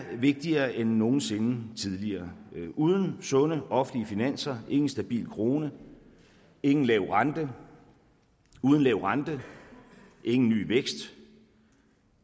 vigtigere end nogen sinde tidligere uden sunde offentlige finanser ingen stabil krone ingen lav rente uden lav rente ingen ny vækst og